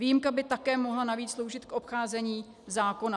Výjimka by také mohla navíc sloužit k obcházení zákona.